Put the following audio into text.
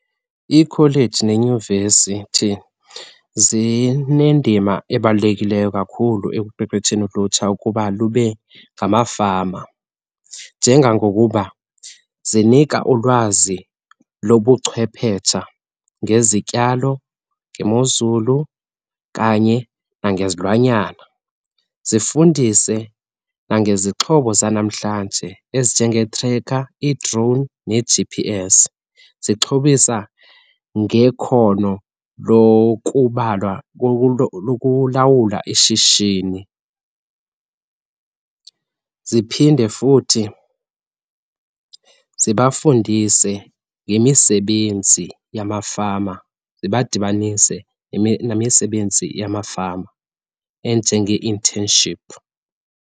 Iikholeji nenyuvesithi zineendima ebalulekileyo kakhulu ekuqeqesheni ulutsha ukuba lube ngamafama. Njengangokuba zinika ulwazi lobuchwephetsha ngezityalo, ngemozulu kanye nangezilwanyana. Zifundise nangezixhobo zanamhlanje ezinjengee-trekha, ii-drone ne-G_P_S zixhobisa ngekhono lokubalwa lokulawula ishishini. Ziphinde futhi zibafundise ngemisebenzi yamafama, zibadibanise nemisebenzi yamafama enjengee-internship.